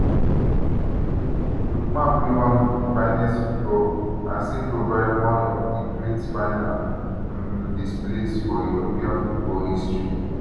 um lookman play one of di finest football as im provide one of di great final um displays for european football history